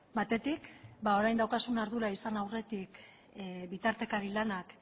batetik orain daukazun ardura izan aurretik bitartekari lanak